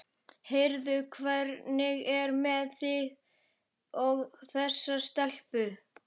Heyrðu, hvernig er með þig og þessa stelpu?